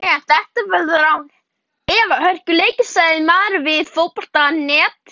Þeir hafa ekki unnið okkur en þetta verður án efa hörkuleikur, sagði Marel við Fótbolta.net.